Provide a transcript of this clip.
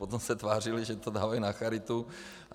Potom se tvářili, že to dávají na charitu.